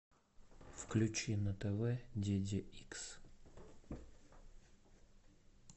включи на тв диди икс